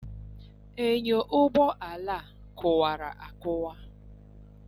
Enyọ ụgbọala a kụwara akụwa.